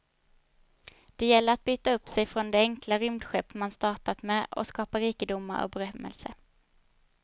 Det gäller att byta upp sig från det enkla rymdskepp man startar med och skapa rikedomar och berömmelse.